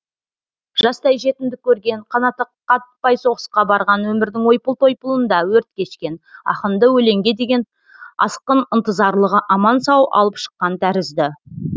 жастай жетімдік көрген қанаты қатпай соғысқа барған өмірдің ойпыл тойпылында өрт кешкен ақынды өлеңге деген асқын ынтызарлығы аман сау алып шыққан тәрізді